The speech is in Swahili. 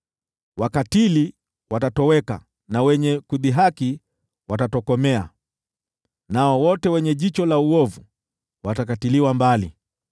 Wakatili watatoweka na wenye kudhihaki watatokomea, nao wote wenye jicho la uovu watakatiliwa mbali,